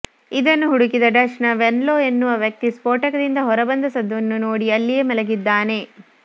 ಇದನ್ನು ಹುಡುಕಿದ ಡಚ್ ನ ವೆನ್ಲೋ ಎನ್ನುವ ವ್ಯಕ್ತಿ ಸ್ಪೋಟಕದಿಂದ ಹೊರ ಬಂದ ಸದ್ದನ್ನು ನೋಡಿ ಅಲ್ಲಿಯೇ ಮಲಗಿದ್ದಾನೆ